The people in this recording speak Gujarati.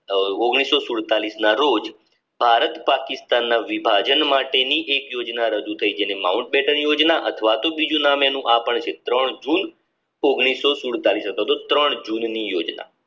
ના રોજ ભારત પાકિસ્તાનના વિભાજન માટેની એક યોજના રજુ થઈ જેને માઉન્ટ બેટની યોજના અથવા તો બીજું નામ એનું આ પણ છે ત્રણ જૂન અથવા તો ત્રણ જૂન ની યોજના